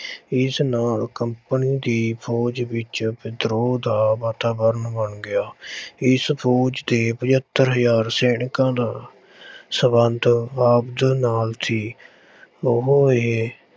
ਇਸ ਨਾਲ company ਦੀ ਫ਼ੋਜ ਵਿੱਚ ਵਿਦਰੋਹ ਦਾ ਵਾਤਾਵਰਨ ਬਣ ਗਿਆ ਇਸ ਫ਼ੋਜ ਤੇ ਪਜੱਤਰ ਹਜ਼ਾਰ ਸੈਨਿਕਾਂ ਦਾ ਸੰਬੰਧ ਨਾਲ ਸੀ ਉਹ ਇਹ